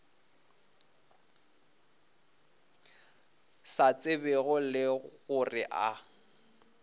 sa tsebego le gore a